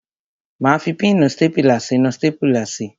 Máa fi píìnì stápùlà sínú stápùlà si.